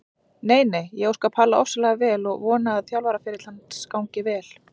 Nei nei, ég óska Palla ofsalega vel og vona að þjálfaraferill hans gangi vel.